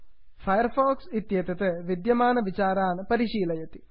fire fox इत्येतत् विद्यमानविचारान् परिशीलयन्ति